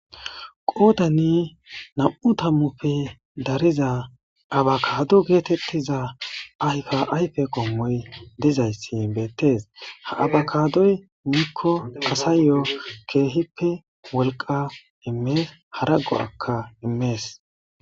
Qoodani nam,u tammufe dariza abakado geetettiza ayka ayfe qommoy dizayssi beettees ha abakadoy miikko asayo keehippe wolqa immees hara go akka immees